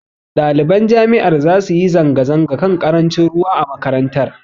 Ɗaliban jami'ar zasu yi zanga-zanga kan ƙarancin ruwa a makarantar.